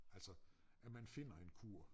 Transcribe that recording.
Altså at man finder en kur